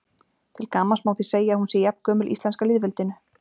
Til gamans má því segja að hún sé jafngömul íslenska lýðveldinu.